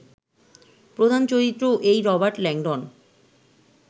প্রধান চরিত্রও এই রবার্ট ল্যাংডন